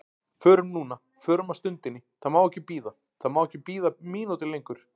Förum núna, förum á stundinni, það má ekki bíða, það má ekki bíða mínútu lengur.